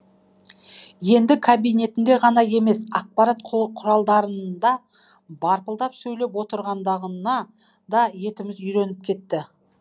енді кабинетінде ғана емес ақпарат құралдарында барпылдап сөйлеп отыратындығына да етіміз үйреніп кетті